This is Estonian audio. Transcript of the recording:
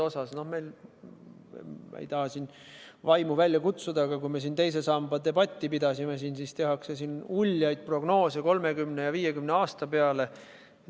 Ma ei taha vaimu välja kutsuda, aga kui me teise samba debatti pidasime, siis tehti siin uljaid prognoose 30 ja 50 aasta peale.